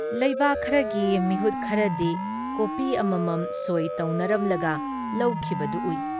ꯂꯩꯕꯥꯥꯛ ꯈꯔꯒꯤ ꯃꯤꯍꯨꯠ ꯈꯔꯗꯤ ꯀꯣꯄꯤ ꯑꯃꯃꯝ ꯁꯣꯏ ꯇꯧꯅꯔꯝꯂꯒ ꯂꯧꯈꯤꯕꯗꯨ ꯎꯏ꯫